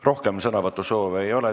Rohkem sõnavõtusoove ei ole.